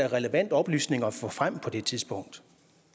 relevant oplysning at få frem på det tidspunkt